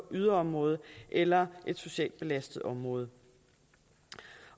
yderområde eller et socialt belastet område